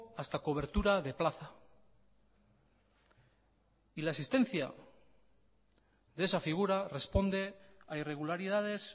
hasta cobertura de plaza y la existencia de esa figura responde a irregularidades